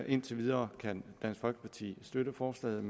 indtil videre kan dansk folkeparti støtte forslaget